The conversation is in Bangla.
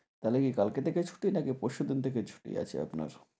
তাহলে কি কালকে থেকে ছুটি নাকি পরশুদিন থেকে ছুটি আছে আপনার?